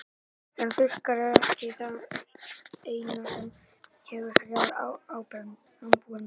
En þurrkar eru ekki það eina sem hefur hrjáð ábúendur.